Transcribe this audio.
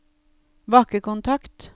bakkekontakt